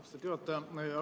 Austatud juhataja!